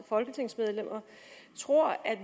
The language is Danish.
folketingsmedlemmer tror at